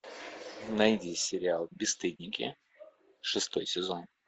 найди сериал бесстыдники шестой сезон